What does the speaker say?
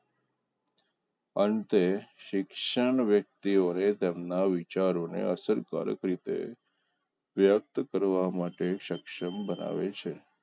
અંતે શિક્ષણ વ્યક્તિઓએ તેમના વિચારો ને અસરપરખ રીતે શ્રેષ્ઠ કરવા માટે સક્ષમ બનાવે છે